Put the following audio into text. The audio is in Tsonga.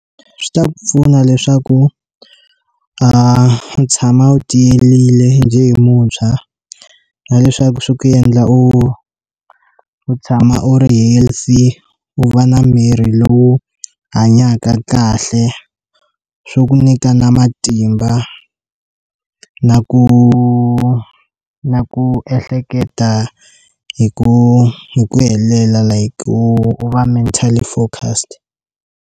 Swi ta pfuna leswaku u tshama u tiyile njhe hi muntshwa na leswaku swi ku endla u u tshama u ri healthy u va na miri lowu hanyaka kahle swo ku nyika na matimba na ku na ku ehleketa hi ku hi ku helela like u va mentally focused.